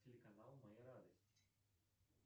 телеканал моя радость